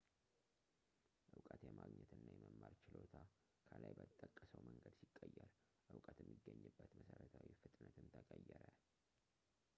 ዕውቀት የማግኘት እና የማማር ችሎታ ከላይ በተጠቀሰው መንገድ ሲቀየር ዕውቀት የሚገኝበት መሰረታዊ ፍጥነትም ተቀየረ